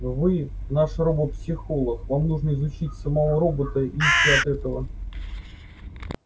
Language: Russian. вы наш робопсихолог вам нужно изучить самого робота и идти от этого